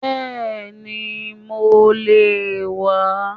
Bẹ́ẹ̀ni mo le è wà á